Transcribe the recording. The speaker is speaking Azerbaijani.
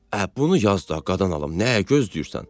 Ə, bunu yaz da, qadan alım, nəyi gözləyirsən?